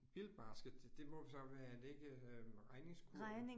Bill basket, det må så være, er det ikke øh regningskurv?